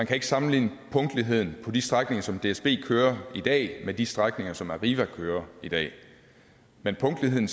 kan sammenligne punktligheden på de strækninger som dsb kører i dag med de strækninger som arriva kører i dag men punktligheden